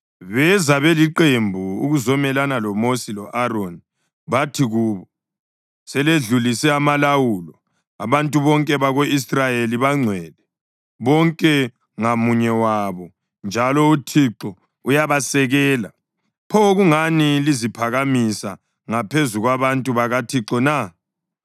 Beza beliqembu ukuzomelana loMosi lo-Aroni bathi kubo, “Seledlulise amalawulo! Abantu bonke bako-Israyeli bangcwele, bonke ngamunye wabo, njalo uThixo uyabasekela. Pho kungani liziphakamisa ngaphezu kwabantu bakaThixo na?”